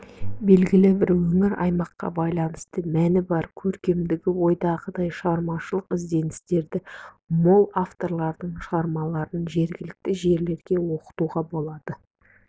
белгілі бір өңір аймаққа байланысты мәні бар көркемдігі ойдағыдай шығармашылық ізденістері мол авторлардың шығармаларын жергілікті жерлерде оқытуға болады